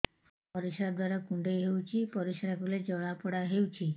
ପରିଶ୍ରା ଦ୍ୱାର କୁଣ୍ଡେଇ ହେଉଚି ପରିଶ୍ରା କଲେ ଜଳାପୋଡା ହେଉଛି